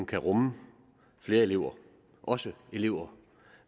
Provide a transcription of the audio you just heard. kan rumme flere elever også elever